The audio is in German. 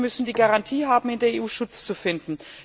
Verfolgte müssen die Garantie haben, in der EU Schutz zu finden.